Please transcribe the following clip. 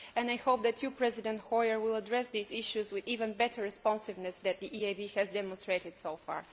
I hope that President Hoyer will address these issues with even better responsiveness than the EIB has demonstrated so far.